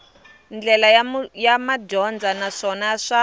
ndlela ya madyondza naswona swa